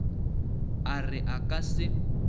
a re a ka se